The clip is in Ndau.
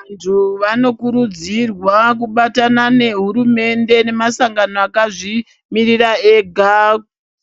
Vantu vanokurudzirwa kubatana nehurumende nemasangano akazvimirira ega.